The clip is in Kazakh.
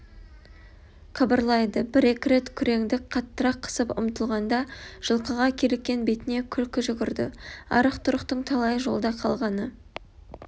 қыбырлайды бір-екі рет күреңді қаттырақ қысып ұмтылғанда жылқыға киліккен бетіне күлкі жүгірді арық-тұрықтың талайы жолда қалғаны